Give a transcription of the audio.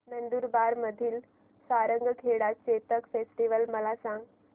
नंदुरबार मधील सारंगखेडा चेतक फेस्टीवल मला सांग